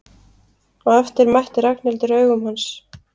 Á eftir mætti Ragnhildur augum hans.